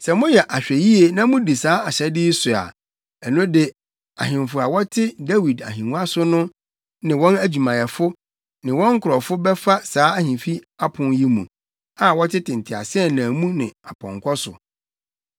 Sɛ moyɛ ahwɛyie na mudi saa ahyɛde yi so a, ɛno de ahemfo a wɔte Dawid ahengua so ne wɔn adwumayɛfo ne wɔn nkurɔfo bɛfa saa ahemfi apon yi mu, a wɔtete nteaseɛnam mu ne apɔnkɔ so.